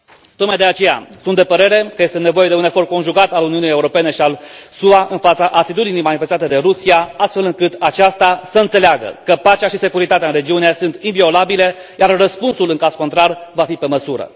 Tocmai de aceea, sunt de părere că este nevoie de un efort conjugat al Uniunii Europene și al SUA în fața atitudinii manifestate de Rusia, astfel încât aceasta să înțeleagă că pacea și securitatea în regiune sunt inviolabile, iar răspunsul în caz contrar va fi pe măsură.